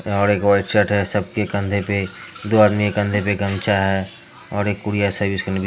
यहाँ पर एक व्हाइट शर्ट है सबके कंधे पे दो आदमी के कंधे पे गमछा है और एक कूरियर सर्विस करने भी--